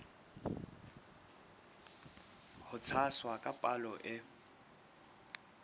ho tshwasa ka palo e